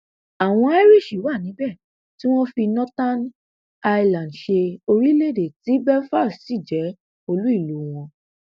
àwọn irish wà níbẹ tí wọn ń fi northern ireland ṣe orílẹ èdè tí belfast sì jẹ olú ìlú wọn